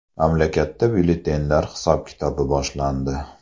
Mamlakatda byulletenlar hisob-kitobi boshlandi.